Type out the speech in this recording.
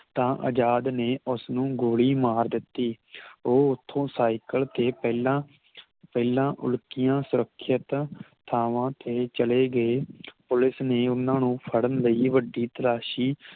ਤਾਂ ਅਜਾਦ ਨੇ ਉਸ ਨੂੰ ਗੋਲੀ ਮਾਰ ਦਿੱਤੀ ਉਹ ਓਥੋਂ ਸਾਈਕਲ ਤੇ ਪਹਿਲਾਂ ਪਹਿਲਾਂ ਉਲਕੀਆਂ ਸੁਰਖਿਤ ਥਾਵਾਂ ਤੇ ਚਲੇ ਗਏ ਪੁਲਿਸ ਨੇ ਉਹਨਾਂ ਨੂੰ ਫੜਨ ਲਈ ਵੱਡੀ ਤਲਾਸ਼ੀ